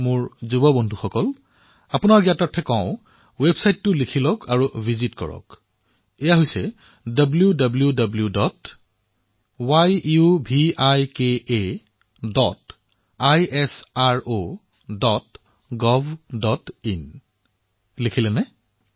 মোৰ যুৱ বন্ধুসকল মই আপোনালোকক কব বিচাৰিছো ৱেবছাইটৰ নামটো লিখি লওক আৰু আজিয়েই ইয়াক পৰিদৰ্শন কৰক wwwyuvikaisrogovin লিখিলে নে